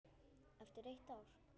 Eftir eitt ár?